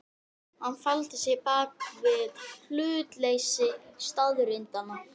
Hann faldi sig bak við hlutleysi staðreyndanna.